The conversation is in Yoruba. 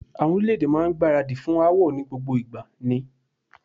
Àwọn orílè-èdè máa ń gbáradì fún aáwọ̀ ni gbogbo ìgbà ni.